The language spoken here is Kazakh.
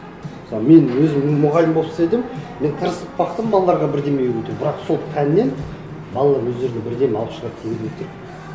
мысалы мен өзім мұғалім болып істедім мен тырысып бақтым балаларға бірдеңе үйретемін бірақ сол пәннен балалар өздеріне бірдеңе алып шығады